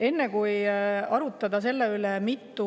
Enne kui arutame selle üle, mitu